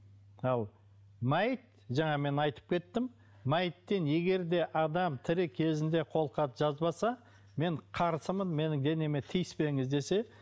ал мәйіт жаңа мен айтып кеттім мәйіттен егер де адам тірі кезінде қолхат жазбаса мен қарсымын менің денеме тиіспеңіз десе